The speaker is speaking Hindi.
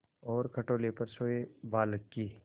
और खटोले पर सोए बालक की